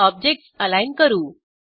objects align करू